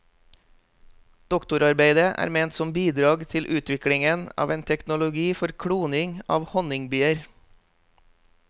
Doktorarbeidet er ment som bidrag til utviklingen av en teknologi for kloning av honningbier.